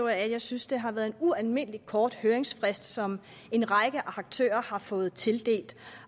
at jeg synes det har været en ualmindelig kort høringsfrist som en række aktører har fået tildelt